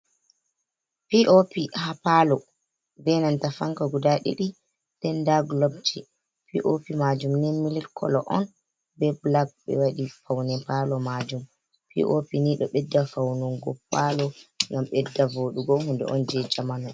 POP haa palo be nanta fanka guda ɗiɗi nden nda gulobji. POP majum nii milik kolo on be bulak, ɓe waɗi paune palo majum. POP nii ɗo ɓedda faunugo palo ngam ɓedda voɗugo, hunde on je jamanu.